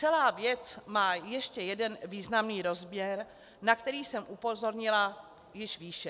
Celá věc má ještě jeden významný rozměr, na který jsem upozornila již výše.